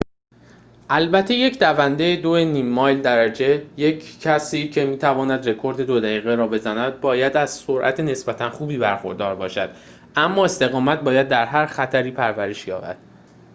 البته یک دونده دوی نیم مایل درجه یک کسی که می تواند رکورد دو دقیقه را بزند باید از سرعت نسبتاً خوبی برخوردار باشد اما استقامت باید در هر خطری پرورش یابد